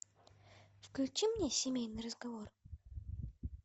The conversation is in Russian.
включи мне семейный разговор